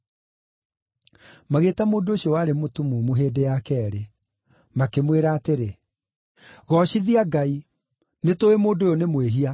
Magĩĩta mũndũ ũcio warĩ mũtumumu hĩndĩ ya keerĩ. Makĩmwĩra atĩrĩ, “Goocithia Ngai. Nĩtũũĩ mũndũ ũyũ nĩ mwĩhia.”